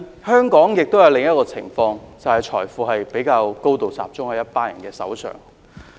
香港亦出現另一種情況，便是財富高度集中在一群人手上。